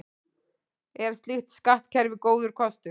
Er slíkt skattkerfi góður kostur?